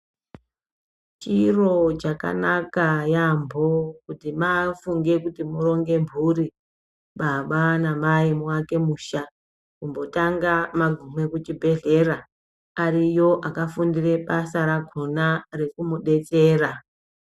Chiro chakanaka yaambo kuti mafunge kuti muronge mburi, baba namai muwake musha, kumbotanga magume kuchibhedhlera. Ariyo akafundire basa rakona rekumudetsera.